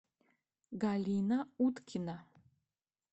галина уткина